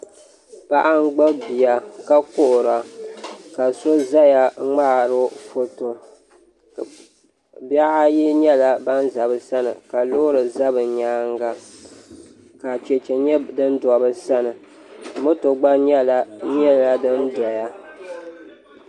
Paɣa n gbubi bia ka kuhura ka so ʒɛya ŋmaaro foto bihi ayi nyɛla ban ʒɛ bi sani ka loori ʒɛ bi nyaanga ka chɛchɛ nyɛ din do bi sani moto gba nyɛla din doya